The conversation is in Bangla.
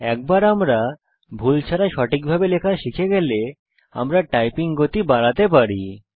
একবার আমরা ভুল ছাড়া সঠিকভাবে লেখা শিখে গেলে আমরা টাইপিং গতি বাড়াতে পারি